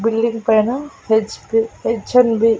building పైన H B H M B --